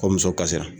Ko muso kasira